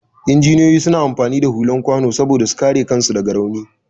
Injiniyoyi suna amfani da hular kwano saboda su kare kansu da rauni.